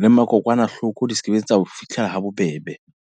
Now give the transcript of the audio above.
Le ma kokwanahloko di sekebe tsa o fitlhela ha bobebe.